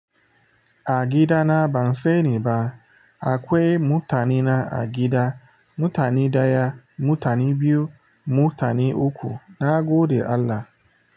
Agida na ban sani ba. Akwai mutane na a gida, mutane ɗaya, mutane biyu, mutane uku, na gode Allah.